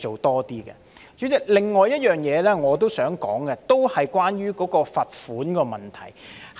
代理主席，另一點我想說的，同樣是關於罰款的問題。